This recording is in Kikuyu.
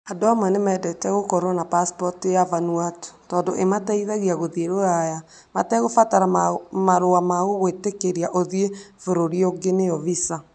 Andũ amwe nĩ mendete gũkorũo na pacipoti ya Vanuatu tondũ ĩmateithagia gũthiĩ Rũraya matekũbatara marũa ma gũgwĩtĩkĩria ũthiĩ bũrũri ũngĩ (visa).